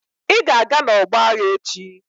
Ị ga-aga n'ọgbọ agha echi!